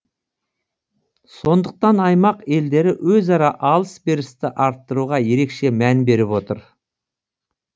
сондықтан аймақ елдері өзара алыс берісті арттыруға ерекше мән беріп отыр